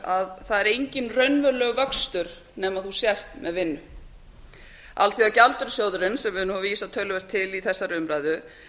að það er enginn raunverulegur vöxtur nema þú hér með vinnu alþjóðagjaldeyrissjóðurinn sem hefur verið vísað töluvert til í þessari umræðu